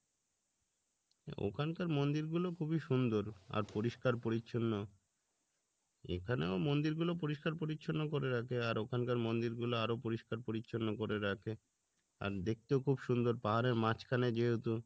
ওখানকার মন্দির গুলো খুবই সুন্দর আর পরিষ্কার পরিচ্ছন্ন এখানেও মন্দির গুলো পরিষ্কার পরিচ্ছন্ন করে রাখে আর ওখানকার মন্দির গুলো আরো পরিষ্কার পরিচ্ছন্ন করে রাখে আর দেখতেও খুব সুন্দর পাহাড়ের মাঝখানে যেহেতু